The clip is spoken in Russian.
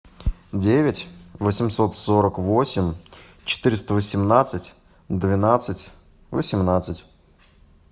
девять восемьсот сорок восемь четыреста восемнадцать двенадцать восемнадцать